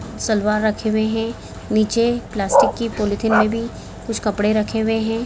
सलवार रखे हुए हैं नीचे प्लास्टिक की पॉलिथीन में भी कुछ कपड़े रखे हुए हैं।